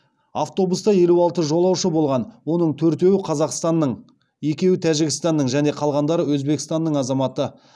автобуста елу алты жолаушы болған оның төртеуі қазақстанның екеуі тәжікстанның және қалғандары өзбекстанның азаматы